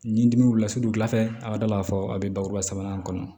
Ɲidimiw wulaso don wulafɛ a ka da la k'a fɔ a bɛ bakuruba sabanan kɔnɔ